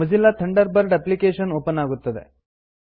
Mozilla Thunderbird application open ಆಗುತ್ತದೆ